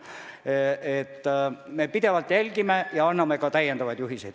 Nii et me pidevalt jälgime olukorda ja anname täiendavaid juhiseid.